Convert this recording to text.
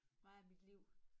Meget af mit liv